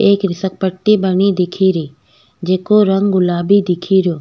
एक फिसल पट्टी बनी दिखेरी जेको रंग गुलाबीदिखेरयो।